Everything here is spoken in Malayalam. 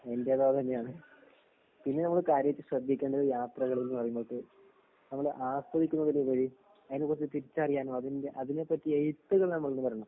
എന്റേതും അത് തന്നെയാണ്. പിന്നെ നമ്മള് കാര്യായിട്ട് ശ്രദ്ധിക്കേണ്ടത് യാത്രകള്‍ എന്ന് പറയുമ്പം നമ്മക്ക് നമ്മള് ആസ്വദിക്കുന്നതിലുപരി അതിനെ കുറിച്ച് തിരിച്ചറിയാനും, അതിനെപറ്റി എഴുത്തുകള്‍നമ്മളില്‍ നിന്നുവരണം